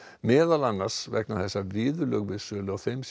meðal annars vegna þess að viðurlög við sölu á þeim